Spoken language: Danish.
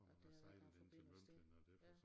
At der har været noget forbindelse der ja